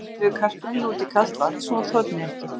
Síðan setjum við kartöfluna út í kalt vatn svo hún þorni ekki.